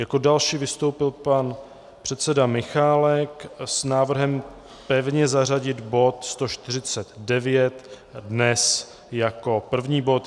Jako další vystoupil pan předseda Michálek s návrhem pevně zařadit bod 149 dnes jako první bod.